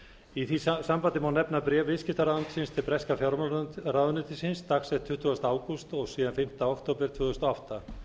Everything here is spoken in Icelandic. í því sambandi má nefna bréf viðskiptaráðuneytisins til breska fjármálaráðuneytisins dagsett tuttugasta ágúst og síðan fimmta október tvö þúsund og átta